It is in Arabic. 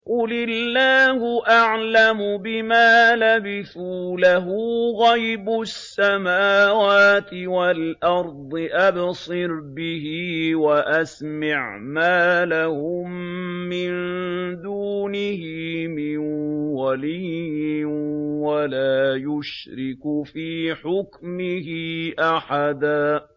قُلِ اللَّهُ أَعْلَمُ بِمَا لَبِثُوا ۖ لَهُ غَيْبُ السَّمَاوَاتِ وَالْأَرْضِ ۖ أَبْصِرْ بِهِ وَأَسْمِعْ ۚ مَا لَهُم مِّن دُونِهِ مِن وَلِيٍّ وَلَا يُشْرِكُ فِي حُكْمِهِ أَحَدًا